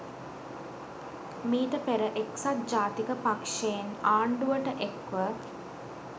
මීට පෙර එක්‌සත් ජාතික පක්‍ෂයෙන් ආණ්‌ඩුවට එක්‌ ව